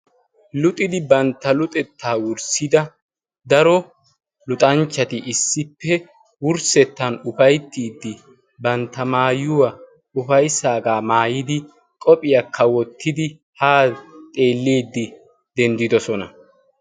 luxidi bantta luxettaa wurssida daro luxanchchati issippe wurssettan ufayttiiddi bantta maayuwaa ufayssaagaa maayidi qophiyaakka wottidi haa xeelliiddi denddidosona.